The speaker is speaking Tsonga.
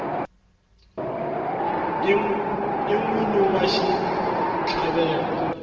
i n wini wa xitlhavelo